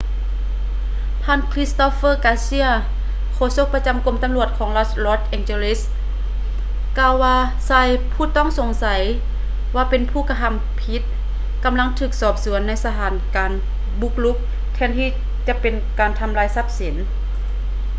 ທ່ານ ຄຼິດສະໂຕບເຟີ ກາເຊຍ christopher garcia ໂຄສົກປະຈຳ ກົມຕຳຫຼວດຂອງລັດ ລອດສ໌ ແອງຈີລີສ໌ los angeles ກ່າວວ່າ ຊາຍຜູ້ຕ້ອງສົງໄສວ່າເປັນຜູ້ກະທຳຜິດ ກຳລັງຖືກສືບສວນໃນສະຖານການບຸກລຸກ ແທນທີ່ຈະເປັນການທຳລາຍຊັບສິນ